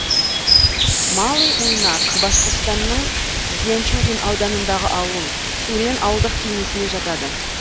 малый муйнак башқұртстанның зианчурин ауданындағы ауыл сурен ауылдық кеңесіне жатады